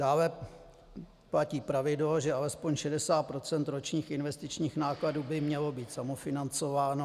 Dále platí pravidlo, že alespoň 60 % ročních investičních nákladů by mělo být samofinancováno.